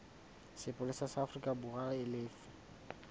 sepolesa sa aforikaborwa e lefe